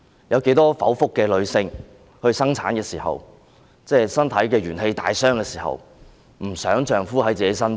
有多少經歷剖腹生產、身體元氣大傷的女性不希望丈夫伴在身邊？